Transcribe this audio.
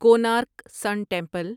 Konark sun temple